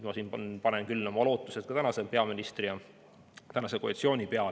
Siin ma panen küll oma lootused tänase peaministri ja koalitsiooni peale.